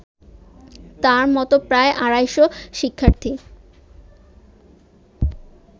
তার মতো প্রায় আড়াইশ শিক্ষার্থী